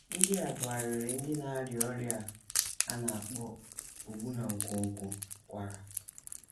NDỊ a bụ arịrị ndị na - arịa ọrịa a a na - akpọ ogbu na nkwonkwo kwara.